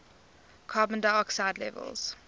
carbon dioxide levels